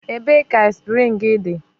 Ebee ka aspịrịn enyere gị dị?